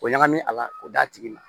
O ɲagami a la k'o d'a tigi ma